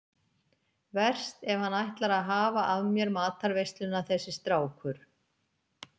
Verst ef hann ætlar að hafa af mér matarveisluna þessi strákur.